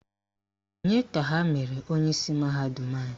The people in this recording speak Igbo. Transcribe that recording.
Onye ka ha mere onyeisi mahadum anyị?